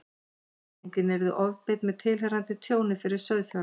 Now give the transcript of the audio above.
Afleiðingin yrði ofbeit með tilheyrandi tjóni fyrir sauðfjárrækt.